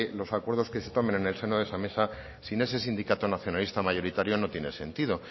los acuerdos que se tomen en el seno de esa mesa sin ese sindicato nacionalista mayoritario no tiene sentido